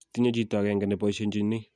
tinye chito ag'enge ne boishenjini